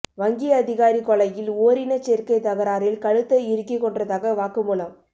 வங்கி அதிகாரி கொலையில் ஓரினச்சேர்க்கை தகராறில் கழுத்தை இறுக்கி கொன்றதாக வாக்குமூலம்